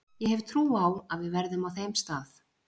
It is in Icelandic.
Ég hef trú á að við verðum á þeim stað.